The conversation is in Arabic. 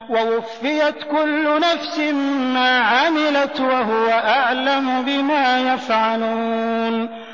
وَوُفِّيَتْ كُلُّ نَفْسٍ مَّا عَمِلَتْ وَهُوَ أَعْلَمُ بِمَا يَفْعَلُونَ